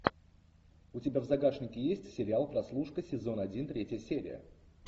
у тебя в загашнике есть сериал прослушка сезон один третья серия